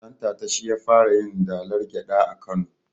Dantata shi ya fara yin dalar gyaɗa a kano